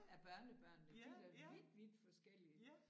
Af børnebørnene de da vidt vidt forskellige